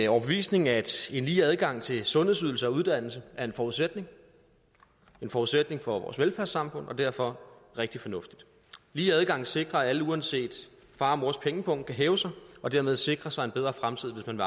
overbevisning at en lige adgang til sundhedsydelser og uddannelse er en forudsætning forudsætning for vores velfærdssamfund og derfor rigtig fornuftigt lige adgang sikrer at alle uanset far og mors pengepung kan hæve sig og dermed sikre sig en bedre fremtid hvis man